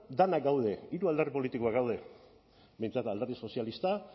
denak gaude hiru alderdi politikoak daude behintzat alderdi sozialista